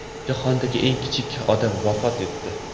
Jahondagi eng kichik odam vafot etdi.